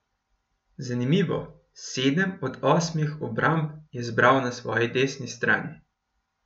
Zanimivo, sedem od osmih obramb je zbral na svoji desni strani.